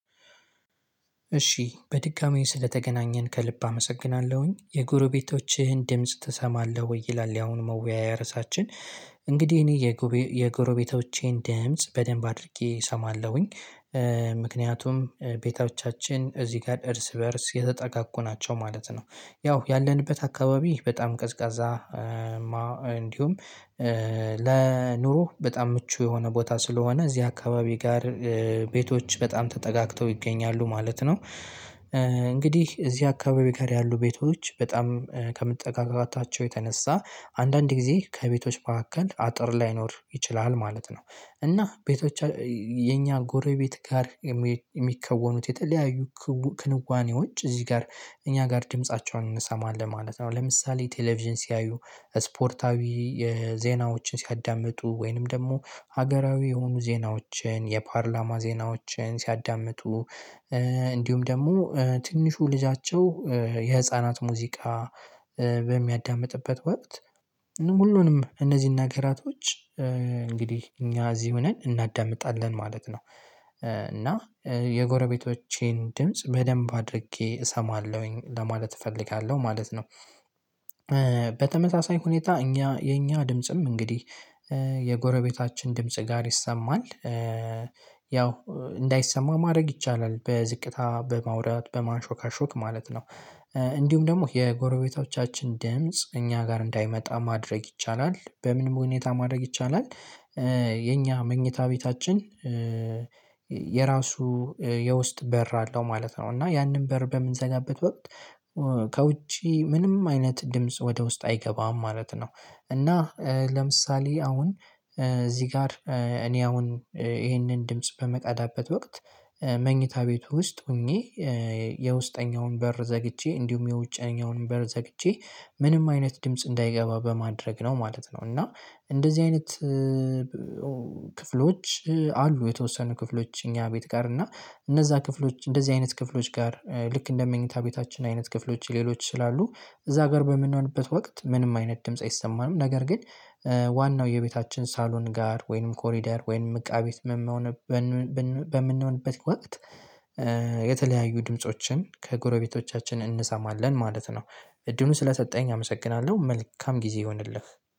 እሺ በድጋሚ ስለተገናኘን ከልብ አመሰግናለሁኝ። የጎረቤቶችህን ድምጽ ትሰማለህ ወይ? ይላል ያሁን መወያያ ርዕሳችን። እንግዲህ እኔ የጎረቤቶቼን ድምጽ በደንብ አድርጌ እሰማለሁኝ። ምክንያቱም ቤታዎቻችን እዚህ ጋር እርስ በእርስ የተጠጋጉ ናቸው ማለት ነው። ያው ያለንበት አካባቢ በጣም ቀዝቃዛ- እንዲሁም ለኑሮ በጣም ምቹ የሆነ ቦታ ስለሆነ እዚህ አካባቢ ጋር- ቤቶች በጣም ተጠጋግተው ይገኛሉ ማለት ነው። እንግዲህ እዚህ አካባቢ ጋር ያሉ ቤቶች በጣም ከመጠጋጋታቸው የተነሳ አንዳንድ ጊዜ ከቤቶች መካከል አጥር ላይኖር ይችላል ማለት ነው። እና ቤቶች የኛ ጎረቤት ጋር- የሚከወኑት የተለያዩ ክንዋኔዎች እዚህ ጋር እኛ ጋር ድምፃቸውን እንሰማለን ማለት ነው። ለምሳሌ ቴሌቪዥን ሲያዩ: ስፖርታዊ የዜናዎችን ሲያዳምጡ :ወይንም ደግሞ ሀገራዊ የሆኑ ዜናዎችን የፓርላማ ዜናዎችን ሲያዳምጡ። እንዲሁም ደግሞ ትንሹ ልጃቸው የህፃናት ሙዚቃ በሚያዳምጥበት ወቅት ሁሉንም እነዚህን ነገራቶች እንግዲህ እኛ እዚህ ሆነን እናዳምጣለን ማለት ነው። እና የጎረቤቶቼን ድምጽ በደንብ አድርጌ እሰማለሁኝ ለማለት እፈልጋለሁ ማለት ነው። በተመሳሳይ ሁኔታ እኛ የእኛ ድምጽም እንግዲህ የጎረቤታችን ድምጽ ጋር ይሰማል። ያው እንዳይሰማ ማድረግ ይቻላል። በዝቅታ በማውራት በማንሾካሾክ ማለት ነው። እንዲሁም ደግሞ የጎረቤቶቻችን ድምጽ እኛ ጋር እንዳይመጣ ማድረግ ይቻላል በምንም ሁኔታ ማድረግ ይቻላል- የኛ መኝታ ቤታችን የራሱ የውስጥ በር አለው ማለት ነው እና ያንን በር በምንዘጋበት ወቅት ከውጪ ምንም አይነት ድምጽ ወደ ውስጥ አይገባም ማለት ነው። እና- ለምሳሌ አሁን እዚህ ጋር እኔ አሁን ይሄንን ድምጽ በምቀዳበት ወቅት- መኝታ ቤቱ ውስጥ ሆኜ የውስጠኛውን በር ዘግቼ እንዲሁም የውጫኛውን በር ዘግቼ ምንም አይነት ድምጽ እንዳይገባ በማድረግ ነው ማለት ነው። እና እንደዚህ አይነት- ክፍሎች አሉ። የተወሰኑ ክፍሎች እኛ ቤት ጋር እና እነዛ ክፍሎች እንደዚህ አይነት ክፍሎች ጋር ልክ እንደ መኝታ ቤታችን አይነት ክፍሎች ሌሎች ስላሉ እዛ ጋር በምንሆንበት ወቅት ምንም አይነት ድምጽ አይሰማንም። ነገር ግን- ዋናው የቤታችን ሳሎን ጋር ወይንም ኮሪዳር ወይንም እቃ ቤት በምንሆንበት ወቅት- የተለያዩ ድምፆችን ከጎረቤቶቻችን እንሰማለን ማለት ነው። እድሉን ስለሰጠኸኝ አመሰግናለሁ። መልካም ጊዜ ይሁንልህ።